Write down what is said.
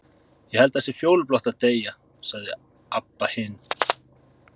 Ég held það sé fjólublátt að deyja, sagði Abba hin.